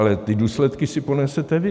Ale ty důsledky si ponesete vy.